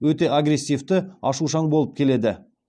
өте агрессивті ашушаң болып келеді